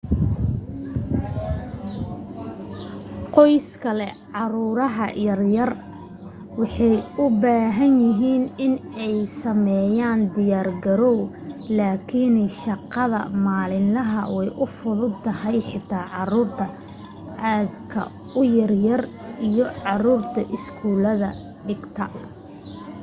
qoysaska leh caruur yar yar waxay u bahan yahiin iney sameeyaan diyaar garow lakin shaqada maalin laha way fududa tahay xitaa caruur aad ka u yar yar iyo caruurta iskuul dhigata